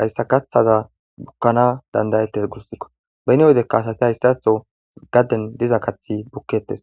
haysa kaxaza bukanas danidaetes beni wedeka asati hesaxo gaden diza kaxsi buketes